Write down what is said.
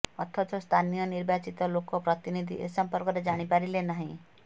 ଅଥଚ ସ୍ଥାନୀୟ ନିର୍ବାଚିତ ଲୋକ ପ୍ରତିନିଧି ଏ ସମ୍ପର୍କରେ ଜାଣି ପାରିଲେ ନାହିଁ